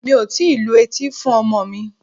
Mi ò tíì lu etí fún ọmọ mi.